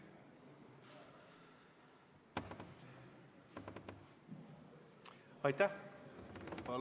Aitäh!